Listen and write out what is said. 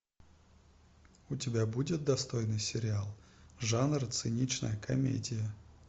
у тебя будет достойный сериал жанр циничная комедия